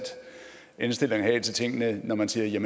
indstilling at have til tingene når man siger